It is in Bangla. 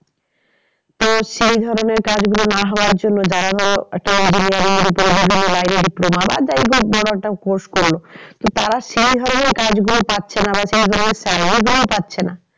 তো সেই ধরণের কাজ গুলো না হওয়ার জন্য যারা ধরো engineering ওপরে বিভিন্ন line এ diploma বা যাই হোক বড়ো একটা courses করলো। তো তারা সেই ধরনের কাজ গুলো পাচ্ছে না বা তারা যেগুলো চায় ওইগুলোই পাচ্ছে না।